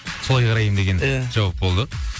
солай қараймын деген иә жауап болды